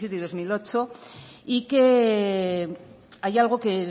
diecisiete y dos mil dieciocho y que hay algo que